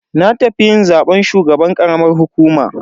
Na tafi yin zaben shugaban karamar hukuma.